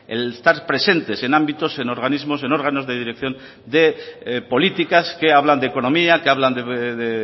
el estar presentes en ámbitos en organismos en órganos de dirección de políticas que hablan de economía que hablan de